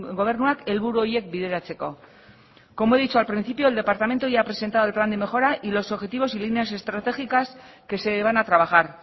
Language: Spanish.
gobernuak helburu horiek bideratzeko como he dicho al principio el departamento ya ha presentado el plan de mejora y los objetivos y líneas estratégicas que se van a trabajar